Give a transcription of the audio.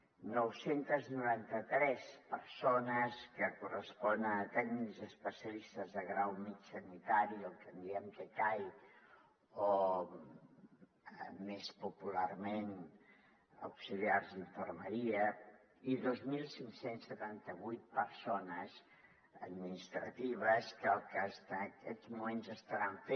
nou cents i noranta tres persones que correspon a tècnics especialistes de grau mitjà sanitari el que en diem tcai o més popularment auxiliars d’infermeria i dos mil cinc cents i setanta vuit persones administratives que lo que en aquests moments estan fent